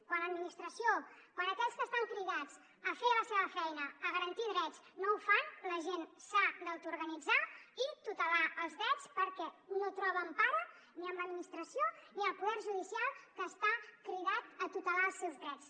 quan l’administració quan aquells que estan cridats a fer la seva feina a garantir drets no ho fan la gent s’ha d’autorganitzar i tutelar els drets perquè no troba empara ni en l’administració ni en el poder judicial que està cridat a tutelar els seus drets